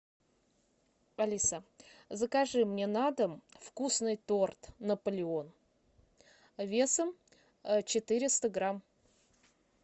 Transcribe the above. алиса закажи мне на дом вкусный торт наполеон весом четыреста грамм